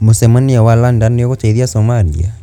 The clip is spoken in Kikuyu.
Mũcemanio wa London niugũteithia Somalia?